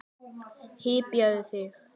Hypjaðu þig!